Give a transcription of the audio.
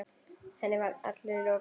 Henni var allri lokið.